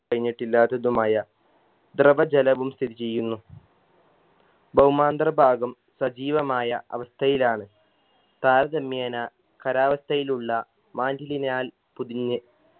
കഴിഞ്ഞിട്ടില്ലാത്തതുമായ ദ്രവജലവും സ്ഥിതി ചെയ്യുന്നു ഭൗമാന്തര ഭാഗം സജീവമായ അവസ്ഥയിലാണ് താരതമ്യേന ഖരാവസ്ഥയിലുള്ള mantle ലിനാൽ പൊതിഞ്ഞ്